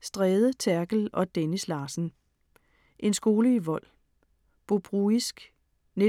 Stræde, Therkel og Dennis Larsen: En skole i vold. Bobruisk 1941-44